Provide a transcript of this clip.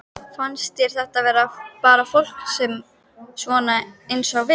Fannst þér þetta vera bara fólk svona eins og við?